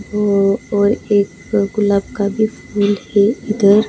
ओ और एक गुलाब का भी फूल है इधर.